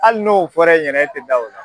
Hali n'o fɔra e ɲɛnɛ e tɛ da o la.